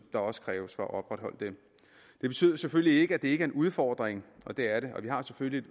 der også kræves for at opretholde det det betyder selvfølgelig ikke at det ikke er en udfordring det er det og vi har selvfølgelig